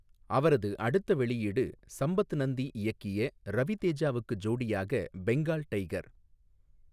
அவரது அடுத்த வெளியீடு சம்பத் நந்தி இயக்கிய ரவி தேஜாவுக்கு ஜோடியாக பெங்கால் டைகர்.